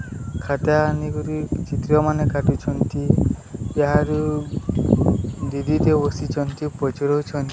ଖାତା ଆନିକରି ଚିତ୍ରମାନେ କାଟୁଛନ୍ତି ଏହାରି ଦିଦିଟେ ବସିଛନ୍ତି ପଚାରୁଛନ୍ତି।